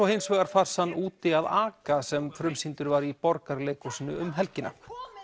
hins vegar farsann úti að aka sem frumsýndur var í Borgarleikhúsinu um helgina